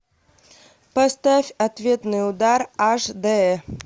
поставь ответный удар аш д